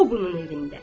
o bunun evində.